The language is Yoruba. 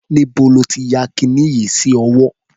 Níbo ló ti ya kiní yìí sí ọwọ́?